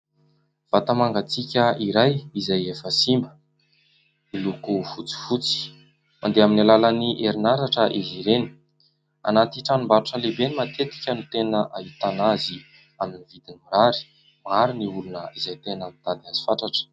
Vata mangatsiaka iray izay efa simba, miloko fotsifotsy. Mandeha amin'ny alalan'ny herinaratra izy ireny. Anaty tranombarotra lehibe no matetika no tena ahitana azy amin'ny vidiny mirary. Maro ny olona izay tena mitady azy fatratra.